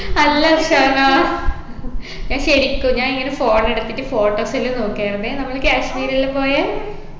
അല്ല അർഷാനാ ഞാൻ ശരിക്കും ഞാനിങ്ങനെ phone എടുത്തിട്ട് photos എല്ലു നോക്കായിരുന്നെ നമ്മള് കാശ്മീരെല്ലും പോയെ